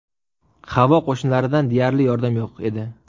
Havo qo‘shinlaridan deyarli yordam yo‘q edi.